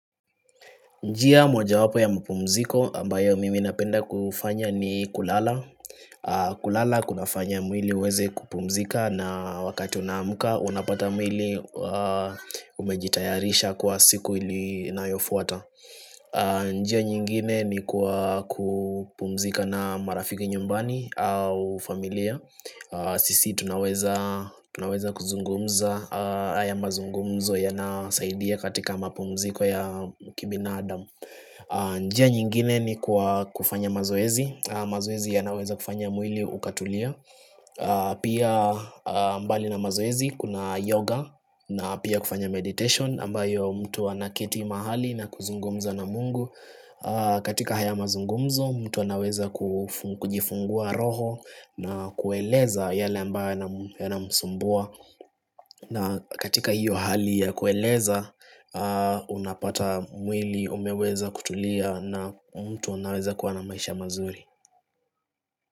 Njia mojawapo ya mpumziko ambayo mimi napenda kufanya ni kulala, kulala kunafanya mwili uweze kupumzika na wakati unamuka unapata mwili umejitayarisha kwa siku ili nayofuata njia nyingine ni kwa kupumzika na marafiki nyumbani au familia Sisi tunaweza kuzungumza haya mazungumzo yanasaidia katika mpumziko ya kibina adam njia nyingine ni kwa kufanya mazoezi. Mazoezi yanaweza kufanya mwili ukatulia Pia mbali na mazoezi kuna yoga na pia kufanya meditation ambayo mtu anakiti mahali na kuzungumza na mungu katika haya mazungumzo mtu anaweza kujifungua roho na kueleza yale ambayo yanamsumbua na katika hiyo hali ya kueleza Unapata mwili umeweza kutulia na mtu unaweza kuwa na maisha mazuri.